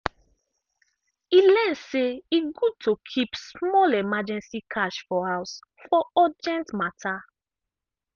e learn say e good to keep small emergency cash for house for urgent matter.